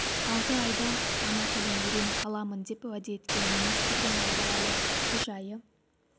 алты ай ішінде ана тілін үйреніп аламын деп уәде еткен министрдің алда әлі үш айы